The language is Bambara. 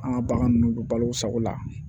An ka bagan ninnu don balo sago la